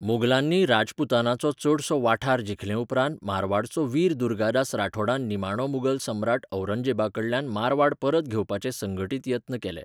मुगलांनी राजपूतानाचो चडसो वाठार जिखलेउपरांत मारवाडचो वीर दुर्गादास राठौडान निमाणो मुगल सम्राट औरंगजेबाकडल्यान मारवाड परत घेवपाचे संघटीत यत्न केले.